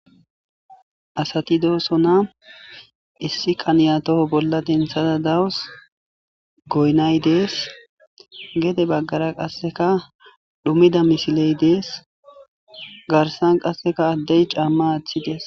Asati dosonna. Issi kaniya bollara daws. Goynay des. Gede bagara qasakka comida misiley des. Garssan qasakka cama des.